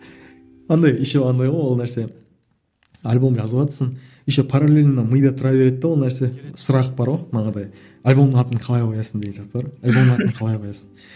андай еще андай ғой ол нәрсе альбом жазыватсың еще паралельно мида тұра береді де ол нәрсе сұрақ бар ғой манағыдай альбомның атын қалай қоясың деген сияқты бар ғой альбомның атын қалай коясың